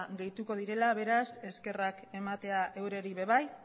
gehituko direla beraz eskerrak ematea eurei ere bai